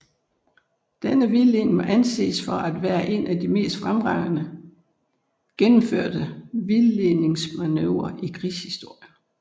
Denne vildledning må anses for at være en af de mest fremragende gennemførte vildledningsmanøvrer i krigshistorien